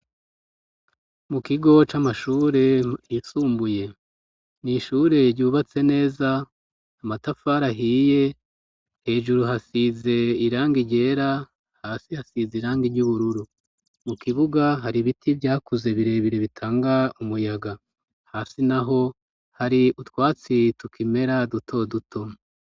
Mu kigo c'amashure yisumbuye, n'ishure ryubatse neza ,amatafar' ahiye ,hejuru hasize irangi ryera, hasi hasize irangi ry'ubururu ,mu kibuga hari biti vyakuze birebire bitanga umuyaga hasi naho ,hari utwatsi tukimera duto duto.